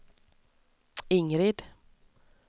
Ingrid